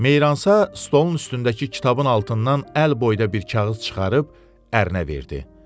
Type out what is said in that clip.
Meyransa stolun üstündəki kitabın altından əl boyda bir kağız çıxarıb ərinə verdi.